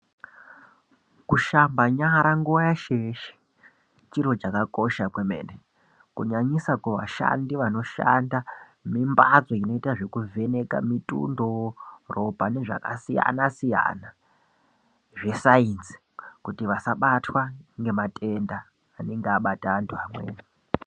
Kushamba nyara nguva yeshe-yeshe chiro chakakosha kwemene. Kunyanyisa kuvashandi vanoshanda mimbatso inoita zvekuvheneka mitundo, ropa nezvakasiyana-siyana zvesainzi kuti vasabatwa ngematenda anenge abata antu amweni.